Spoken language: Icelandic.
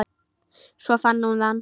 Svo fann hún hann.